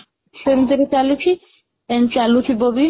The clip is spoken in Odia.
ସେ ବିଷୟରେ ଚାଲିଛି ଏମିତି ଚାଲୁଥିବ ବି